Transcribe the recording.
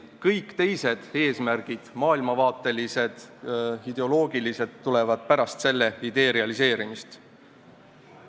Kõik teised eesmärgid, maailmavaatelised, ideoloogilised, tulevad pärast selle idee realiseerimist.